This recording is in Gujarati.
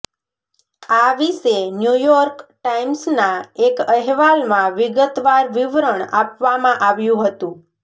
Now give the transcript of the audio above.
આ વિશે ન્યૂયોર્ક ટાઈમ્સના એક અહેવાલમાં વિગતવાર વિવરણ આપવામાં આવ્યું હતું